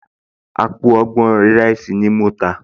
Àpò ìrẹsì ọgbọ̀n ni mo tà